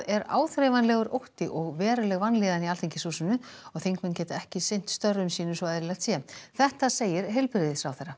er áþreifanlegur ótti og veruleg vanlíðan í Alþingishúsinu og þingmenn geta ekki sinn störfum sínum svo eðlilegt sé þetta segir heilbrigðisráðherra